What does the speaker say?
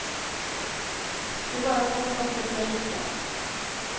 Det är bara att hoppas att det ska lyckas.